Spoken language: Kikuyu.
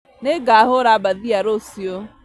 Nĩngahũra mbathia rũciũ